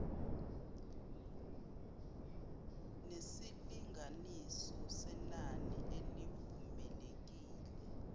nesilinganiso senani elivumelekile